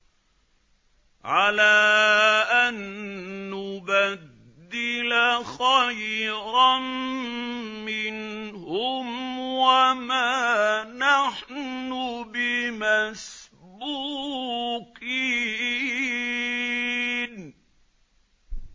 عَلَىٰ أَن نُّبَدِّلَ خَيْرًا مِّنْهُمْ وَمَا نَحْنُ بِمَسْبُوقِينَ